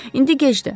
İndi gecdir.